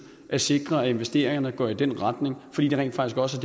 at sikre at investeringerne går i den retning fordi det rent faktisk også